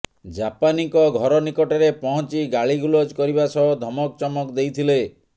ଜାପାନୀଙ୍କ ଘର ନିକଟରେ ପହଞ୍ଚି ଗାଳିଗୁଲଜ କରିବା ସହ ଧମକଚମକ ଦେଇଥିଲେ